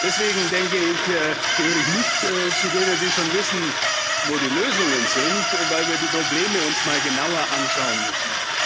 Deswegen, denke ich, gehöre ich nicht zu denen, die schon wissen, wo die Lösungen sind, weil wir uns die Probleme mal genauer anschauen müssen.